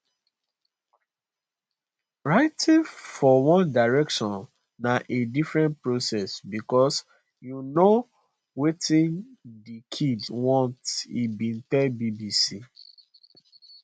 writing for one direction na a different process because you know wetin di kids want e bin tell bbc